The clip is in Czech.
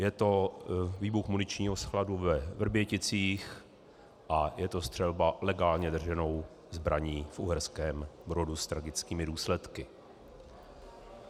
Je to výbuch muničního skladu ve Vrběticích a je to střelba legálně drženou zbraní v Uherském Brodu s tragickými důsledky.